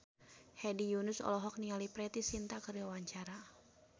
Hedi Yunus olohok ningali Preity Zinta keur diwawancara